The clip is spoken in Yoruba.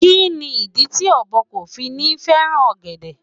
Kí ni ìdí tí ọ̀bọ kò fi ní fẹ́ràn ọ̀gẹ̀dẹ̀?